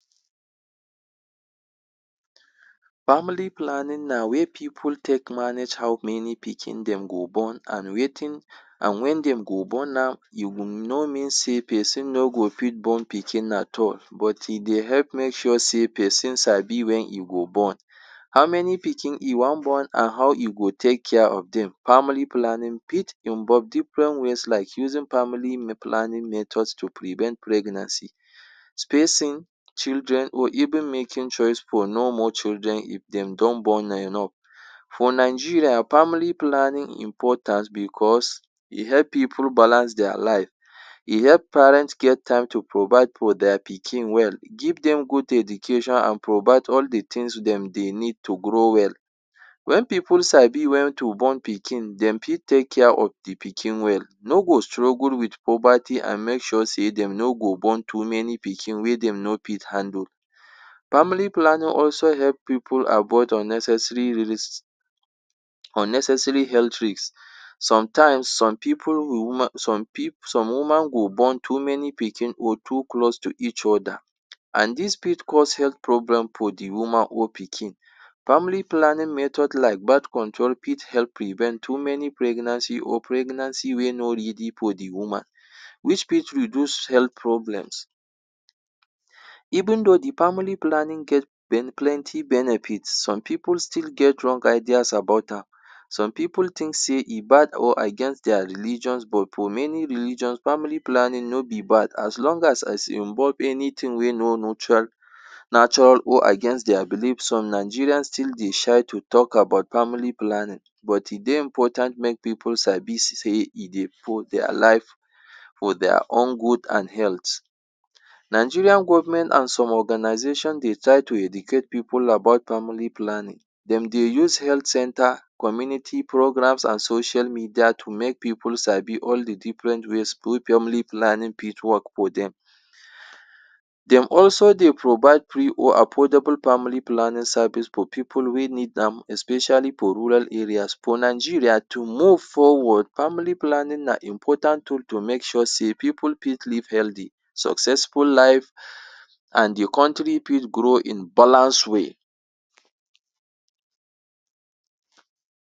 Family planning na way pipu take manage how many pikin dem go born and wetin and when dem go born am. E will no mean sey pesin no go fit born pikin at all but e dey help make sure sey pesin sabi when e go born. um How many pikin e wan born and how e go take care of dem. Family planning fit involve different ways like using family planning method to prevent pregnancy. Spacing children or even making choice for normal children if dem don born enough. For Nigeria, family planning important because e help pipu balance their life, e help parents get time to provide for their pikin well, give dem good education and provide all the things dem dey need to grow well. When pipu sabi when to born Pikin, de fit take care of the pikin well. No go struggle with poverty and make sure sey dem no go born too many pikin wey dem no fit handle. Family planning also help pipu avoid unnecessary risk, unnecessary health risk. um Sometimes, some pipu woman some some woman go born too many Pikin or too close to each other and dis fit cause health problem for the woman or pikin. Family planning method like birth control fit help prevent too many pregnancy or pregnancy wey no ready for the woman, which fit reduce health problems. Even though the family planning get plenty benefits, some pipu still get wrong ideas about am. Some pipu think say e bad or against their religion but for many religion, family planning no be bad. As long as e involve anything wey no neutral or against their belief. Some Nigerians still dey shy to talk about family planning. But e dey important make pipu sabi sey e dey improve their life. for their own good and health. Nigerian government and some organizations dey try to educate pipu about family planning. De dey use health centre, community programs and social media to make pipu sabi all the different ways family planning fit work for dem. De also dey provide free or affordable family planning service for pipu wey need am especially for rural areas. For Nigeria to move forward, family planning na important tool to make sure sey pipu fit live healthy, successful life um and the country fit grow in balance way.